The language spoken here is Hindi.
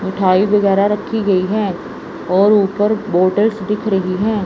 मिठाई वगैरा रखी गई है और ऊपर बोटल्स दिख रही है।